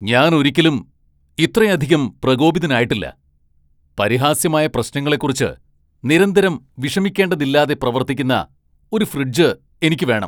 ഞാൻ ഒരിക്കലും ഇത്രയധികം പ്രകോപിതനായിട്ടില്ല. പരിഹാസ്യമായ പ്രശ്നങ്ങളെക്കുറിച്ച് നിരന്തരം വിഷമിക്കേണ്ടതില്ലാതെ പ്രവർത്തിക്കുന്ന ഒരു ഫ്രിഡ്ജ് എനിക്ക് വേണം!